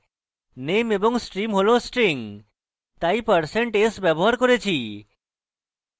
name এবং stream হল strings তাই আমরা% s ব্যবহার করেছি